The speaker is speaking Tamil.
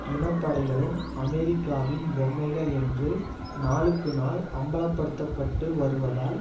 இன படைகளும் அமெரிக்காவின் பொம்மைகள் என்று நாளுக்கு நாள் அம்பலப்படுத்த பட்டு வருவதால்